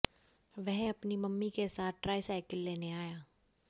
वह अपनी मम्मी के साथ ट्राई साइकिल लेने आया